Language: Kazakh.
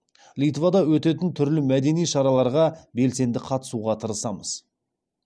литвада өтетін түрлі мәдени шараларға белсенді қатысуға тырысамыз